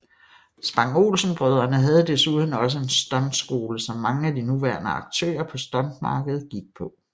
Spang Olsen brødrene havde desuden også en stunt skole som mange af de nuværende aktører på stuntmarkedet gik på